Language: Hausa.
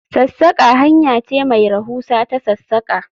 Sassaka hanya ce mai rahusa ta sassaka